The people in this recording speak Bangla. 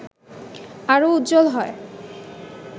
আরও উজ্জ্বল হয়